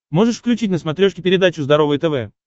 можешь включить на смотрешке передачу здоровое тв